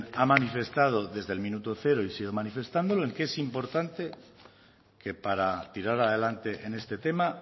ha manifestado desde el minuto cero y sigue manifestando que es importante que para tirar adelante en este tema